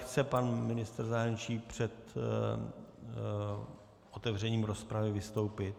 Chce pan ministr zahraničí před otevřením rozpravy vystoupit?